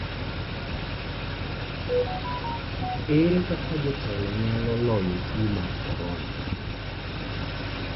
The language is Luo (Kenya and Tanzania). Ere kaka jotelo nyalo loyo tuo mar corona?